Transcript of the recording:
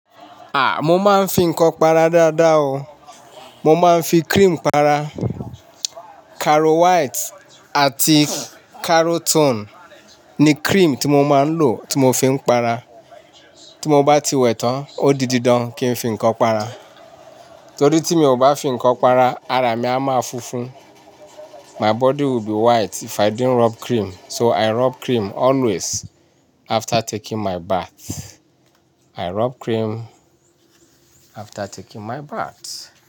À, mo máa ń fi nǹkan para dáadáa o. Mo máa ń fi cream para. Caro White àti Carotone ni cream tí mo máa ń lò tí mo fi ń para. Tí mo bá ti wẹ̀ tán, ó di dídán kí n fi nǹkan para. Torí tí mi ò bá fi nǹkan para, ara mi a máa funfun. My body will be white if I didn't rub cream. So I rub cream always after taking my bath. I rub cream after taking my bath.